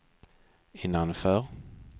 innanför